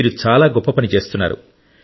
మీరు గొప్ప పని చేస్తున్నారు